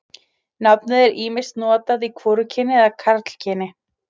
Nafnið er ýmist notað í hvorugkyni eða karlkyni.